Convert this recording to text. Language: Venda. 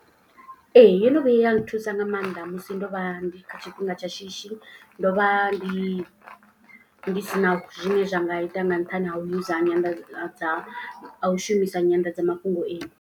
Ee yo no vhuya ya nthusa nga maanḓa musi ndo vha ndi kha tshifhinga tsha shishi. Ndo vha ndi ndi si na zwine zwa nga ita nga nṱhani ha u use nyanḓadza u shumisa nyanḓadzamafhungo iyi.